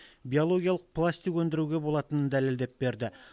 биологиялық пластик өндіруге болатынын дәлелдеп берді